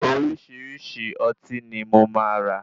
Oríṣìíríṣìí ọtí ni mo máa rà.